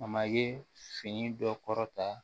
A ma ye fini dɔ kɔrɔta